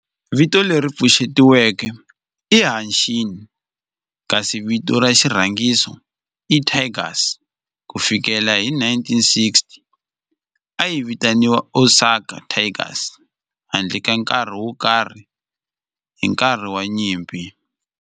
Vito leri pfuxetiweke i Hanshin kasi vito ra xirhangiso i Tigers. Ku fikela hi 1960, a yi vitaniwa Osaka Tigers handle ka nkarhi wo karhi hi nkarhi wa nyimpi.